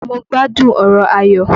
Mo gbádùn ọ̀rọ̀ Ayọ̀.